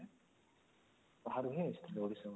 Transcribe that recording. ବାହାରୁ ହିଁ ଆସିଥିଲେ ଓଡିଶା ବାହାରୁ